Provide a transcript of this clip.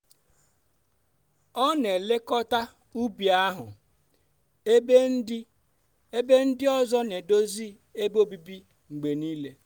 ọ n'elekọta ubi ahụ ebe ndị ebe ndị ọzọ n'edozi ebe obibi mgbe niile.